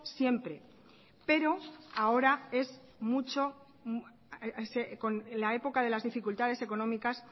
siempre pero ahora en la época de las dificultades económicas